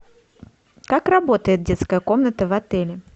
как работает детская комната в отеле